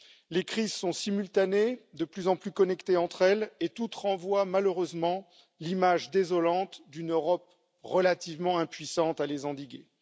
Les crises sont simultanées, de plus en plus connectées entre elles et toutes renvoient malheureusement l'image désolante d'une Europe relativement impuissante à les endiguer.